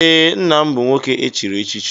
Ee, nna m bụ nwoke echiri echichi.